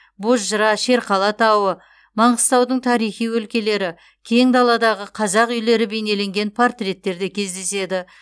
бозжыра шерқала тауы маңғыстаудың тарихи өлкелері кең даладағы қазақ үйлері бейнелеген портреттер де кездеседі